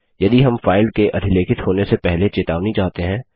यदि हम फाइल के अधिलेखित होने से पहले चेतावनी चाहते हैं